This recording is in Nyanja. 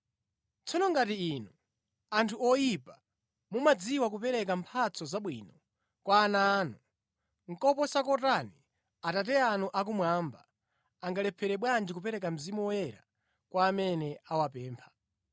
Tsono ngati inu, anthu oyipa, mumadziwa kupereka mphatso zabwino kwa ana anu, koposa kotani Atate anu akumwamba, angalephere bwanji kupereka Mzimu Woyera kwa amene awapempha!”